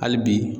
Hali bi